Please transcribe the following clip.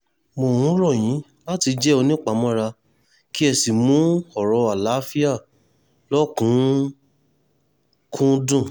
mo ń rọ̀ yín láti jẹ́ onípamọ́ra kí ẹ sì mú ọ̀rọ̀ àlàáfíà lọ́kùn-ún-kúndùn